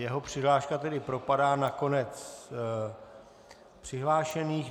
Jeho přihláška tedy propadá na konec přihlášených.